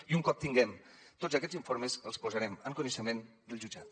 i un cop tinguem tots aquests informes els posarem en coneixement del jutjat